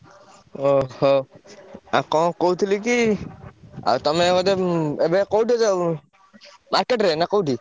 ଓହୋ! ଆଉ କଣ କହୁଥିଲି କି ଆଉ ତମେ ବୋଧେ ଏବେ କୋଉଠି ଅଛ ଉଁ market ରେ ନା କୋଉଠି?